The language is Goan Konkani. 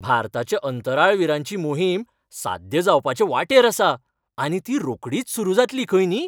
भारताच्या अंतराळवीरांची मोहीम साध्य जावपाचे वाटेर आसा आनी ती रोखडीच सुरू जातली खंय न्ही.